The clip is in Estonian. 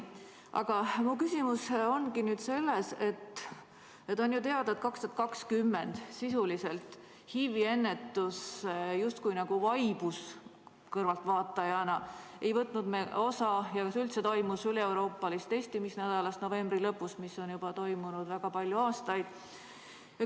Aga mu küsimus on selles, et on ju teada, et 2020 HIV‑i ennetus sisuliselt justkui vaibus, kõrvaltvaatajana ütlen, me ei võtnud osa üleeuroopalisest testimisnädalast novembri lõpus, ja kas see üldse toimus, kuigi see on toimunud juba väga palju aastaid.